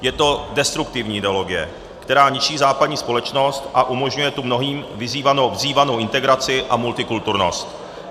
Je to destruktivní ideologie, která ničí západní společnost a umožňuje tu mnohým vzývanou integraci a multikulturnost.